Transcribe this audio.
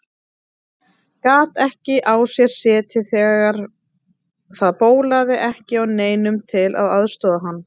Gat ekki á sér setið þegar það bólaði ekki á neinum til að aðstoða hann.